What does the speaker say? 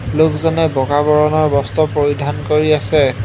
লোকজনে বগা বৰণৰ বস্ত্ৰ পৰিধান কৰি আছে।